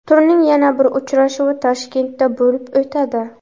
Turning yana bir uchrashuvi Toshkentda bo‘lib o‘tadi.